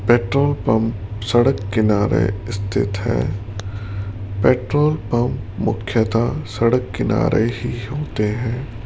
Petrol pump सड़क किनारे स्थित है पेट्रोल पंप मुख्यतः सड़क किनारे ही होते है।